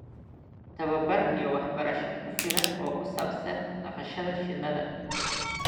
Tababar iyo waxbarasho ku filan oo ku saabsan dhaqashada shinnida.